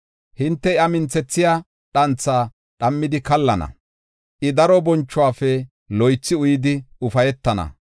Hinte, iya minthethiya dhantha dhammidi kallana; I daro bonchuwafe loythi uyidi, ufaytana.”